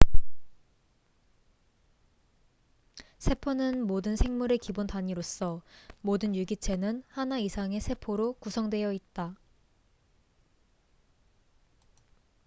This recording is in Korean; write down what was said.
세포는 모든 생물의 기본 단위로서 모든 유기체는 하나 이상의 세포로 구성되어 있다